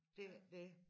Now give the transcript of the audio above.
Det ikke det